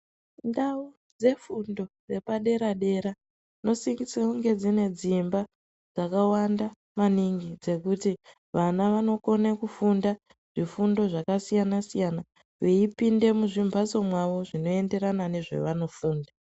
Ndau dzefundo dzepadera dera dzinosisirwe dzine dzimba dzakawanda maningi dzekuti vana vanokone kufunda zvifundo zvakasiyana siyana veipinde muzvimphatso mwawo zvinoenderana nezvavanofunda.